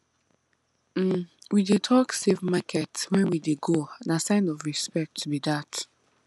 um we dey talk safe market when we dey go na sign of respect be that